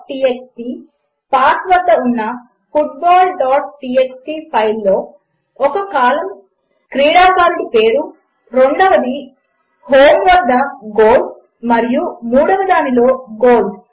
homefosseefootballtxt path వద్ద ఉన్న footballటీఎక్స్టీ ఫైల్లో ఒక కాలం క్రీడాకారుడి పేరు రెండవ దానిలో హోం వద్ద గోల్స్ మరియు మూడవ దానిలో గోల్స్ అవే